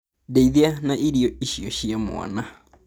Ndeithia na irio icio cia mwana